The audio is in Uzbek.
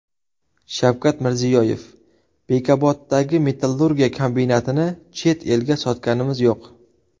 Shavkat Mirziyoyev: Bekoboddagi metallurgiya kombinatini chet elga sotganimiz yo‘q!